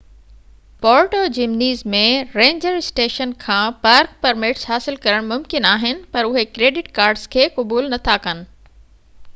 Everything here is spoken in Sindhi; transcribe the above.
پورٽو جمنيز ۾ رينجر اسٽيشن کان پارڪ پرمٽس حاصل ڪرڻ ممڪن آهن پر اهي ڪريڊٽ ڪارڊس کي قبول نٿا ڪن